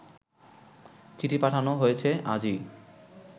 চিঠি পাঠানো হয়েছে আজই